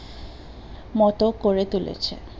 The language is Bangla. মতো করে তুলেছে